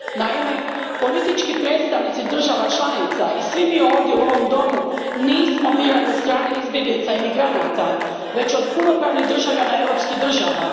Naime, politički predstavnici država članica i svi mi ovdje u ovom domu nismo birani od strane izbjeglica i migranata, već od punopravnih državljana europskih država.